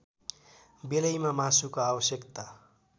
बेलैमा मासुको आवश्यकता